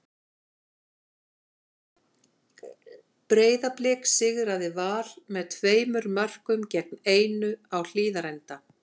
Breiðablik sigraði Val með tveimur mörkum gegn einu á Hlíðarenda.